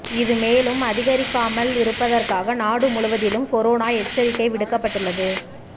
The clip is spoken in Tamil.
இது மேலும் அதிகரிக்காமலிருப்பதற்காக நாடு முழுவதிலும் கொரோனா எச்சரிக்கை விடுக்கப்பட்டுள்ளது